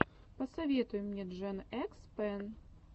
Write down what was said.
посоветуй мне джен экс пен